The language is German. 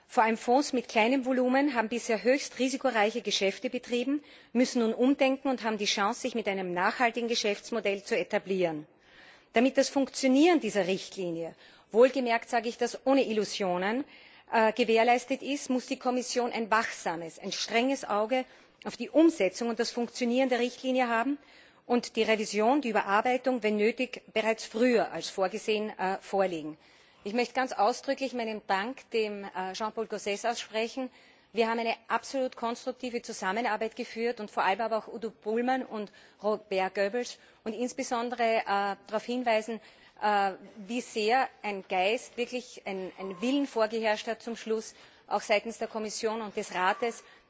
Vor allem Fonds mit kleinem Volumen haben bisher höchst risikoreiche Geschäfte betrieben, müssen nun umdenken und haben die Chance, sich mit einem nachhaltigen Geschäftsmodell zu etablieren. Damit das Funktionieren dieser Richtlinie wohlgemerkt sage ich das ohne Illusionen gewährleistet ist, muss die Kommission ein wachsames, ein strenges Auge auf die Umsetzung und das Funktionieren der Richtlinie haben und die Überarbeitung, wenn nötig bereits früher als vorgesehen, vorlegen. Ich möchte ganz ausdrücklich Jean Paul Gauzès meinen Dank aussprechen, wir haben eine absolut konstruktive Zusammenarbeit geführt. Auch gilt mein Dank Udo Bullmann und Robert Goebbels. Insbesondere möchte ich darauf hinweisen, wie sehr ein Geist, wirklich ein Wille vorgeherrscht hat, zum Schluss auch seitens der Kommission und des